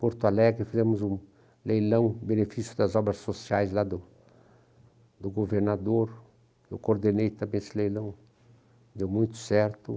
Porto Alegre, fizemos um leilão, benefício das obras sociais lá do do governador, eu coordenei também esse leilão, deu muito certo.